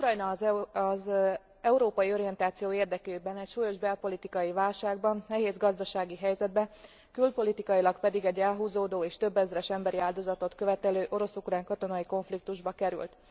Ukrajna az európai orientáció érdekében súlyos belpolitikai válságba, nehéz gazdasági helyzetbe, külpolitikailag pedig egy elhúzódó és több ezer emberi áldozatot követelő orosz ukrán katonai konfliktusba került.